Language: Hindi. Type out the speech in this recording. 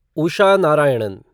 उषा नारायणन